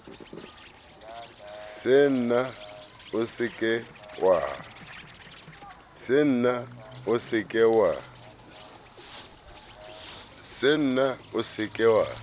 senna o se ke wa